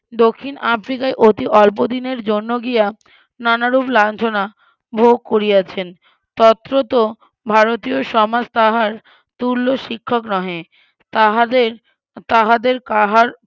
দক্ষিন আফ্রিকায় অতি অল্প দিনের জন্য গিয়া নানারূপ লাঞ্ছনা ভোগ করিয়াছেন তথ্যত ভারতীয় সমাজ তাহার তুল্য শিক্ষক নহে তাহাদের তাহাদের কাহার